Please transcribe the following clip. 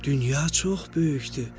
Dünya çox böyükdür.